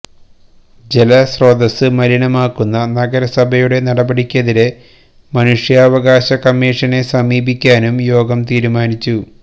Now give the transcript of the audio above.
ജലസ്രോതസ് മലിനമാക്കുന്ന നഗരസഭയുടെ നടപടിക്കെതിരെ മനുഷ്യാവകാശ കമ്മീഷനെ സമീപിക്കാനും യോഗം തീരുമാനിച്ചു